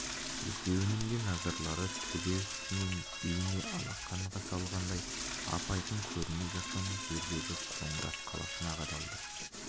екеуінің де назарлары төбе үстінен бейне алақанға салғандай ап-айкын көрініп жатқан жердегі қоңырат қаласына қадалды